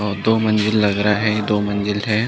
और दो मंजिल लग रहा है दो मंजिल है।